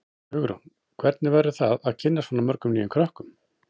Hugrún: Hvernig verður það að kynnast svona mörgum nýjum krökkum?